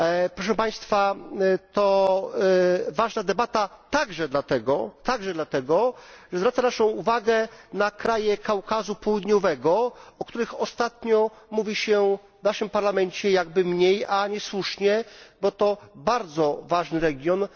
Proszę Państwa! To ważna debata także dlatego, że zwraca naszą uwagę na kraje Kaukazu Południowego, o których ostatnio mówi się w naszym Parlamencie jakby mniej, a niesłusznie, bo to bardzo ważny region.